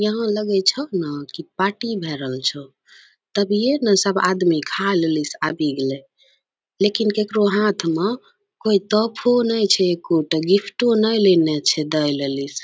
यहाँ लगै छो ना की पार्टी भए रहल छो तभिये नए सब आदमी खाय लेलि से आबि गेलै लेकिन ककरो हाथ मे कोय तोहफो नै छै एकोटा गिफ्टो नैए लेनै छै दैए लेलि से।